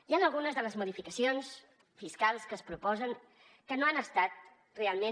hi han algunes de les modificacions fiscals que es proposen que no han estat realment